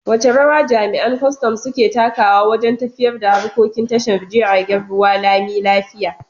Wace rawa jami’an kwastam suke takawa wajen tafiyar da harkokin tashar jiragen ruwa lami lafiya?